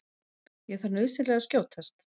Ég þarf nauðsynlega að skjótast.